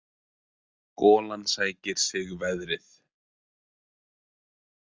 Golan sækir sig veðrið.